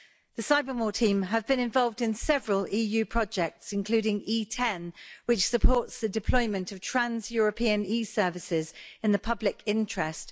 The cyber more team have been involved in several EU projects including E10 which supports the deployment of trans European e-services in the public interest.